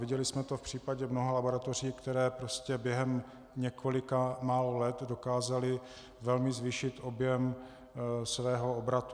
Viděli jsme to v případě mnoha laboratoří, které prostě během několika málo let dokázaly velmi zvýšit objem svého obratu.